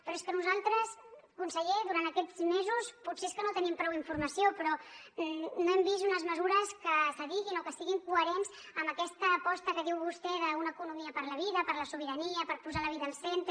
però és que nosaltres conseller durant aquests mesos potser és que no tenim prou informació però no hem vist unes mesures que s’adiguin o que siguin coherents amb aquesta aposta que diu vostè d’una economia per a la vida per a la sobirania per posar la vida al centre